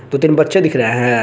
दो तीन बच्चे दिख रहे है।